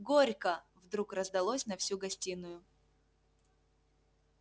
горько вдруг раздалось на всю гостиную